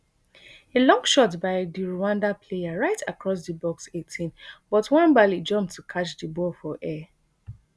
a long shot by di rwanda player right across di box eighteen but nwabali jump to catch di ball for air